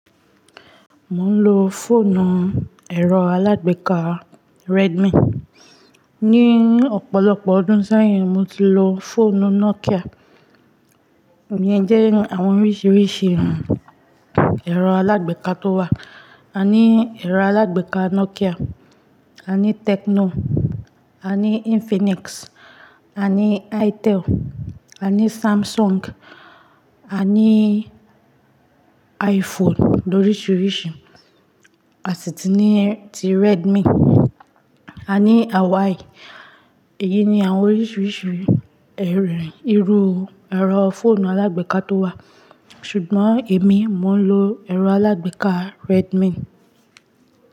Mò ń lo fọ́ọ̀nù ẹ̀rọ alágbèéká Redmi. Ni ọ̀pọ̀lọpọ̀ ọdún sẹ́yìn, mo ti lo fọ́ọ̀nù Nokia. Iyẹn jẹ́ àwọn oríṣiríṣi ẹ̀rọ alágbèéká tó wà. A ní ẹ̀rọ alágbèéká Nokia, a ní Tecno, a ní Infinix, a ní Itel, a ní Samsung, a ní iPhone lóriṣiríṣi, a sì ti ní ti Redmi, a ní Huawei. Èyí ni àwọn oríṣiríṣi ẹ̀rọ, irú ẹ̀rọ fọ́ọ̀nù alágbèéká tó wà. Ṣùgbọ́n èmi mo ń lo ẹ̀rọ alágbèéká Redmi.